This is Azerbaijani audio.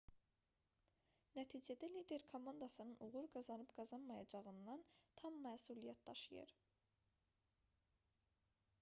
nəticədə lider komandasının uğur qazanıb-qazanmayacağından tam məsuliyyət daşıyır